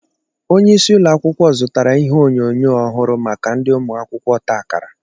Onyeisi ụlọakwụkwọ zụtara ihé onyoyo ọhụrụ maka ndi ụmụ akwụkwọ ọta akara